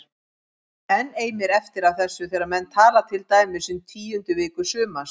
Enn eimir eftir af þessu þegar menn tala til dæmis um tíundu viku sumars